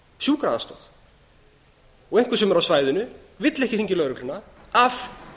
og þarf sjúkraaðstoð einhver sem er á svæðinu vill ekki hringja í lögregluna af